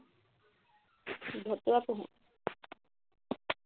ভতুৱা পঢ়ো